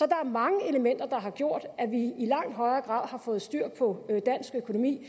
er mange elementer der har gjort at vi i langt højere grad har fået styr på dansk økonomi